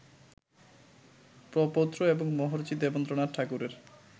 প্রপৌত্র এবং মহর্ষি দেবেন্দ্রনাথ ঠাকুরের